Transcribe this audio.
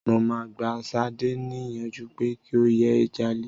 Mo máa gba Ṣadé ní ìyànjú pé kí o yé jalè.